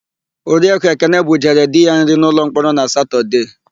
Oriakụ Ekene bujere di ya nri n'ụlọmkpọrọ na Satọdee.